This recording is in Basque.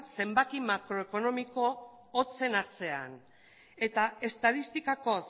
zenbaki makroekonomiko hotzen atzean eta estatistikako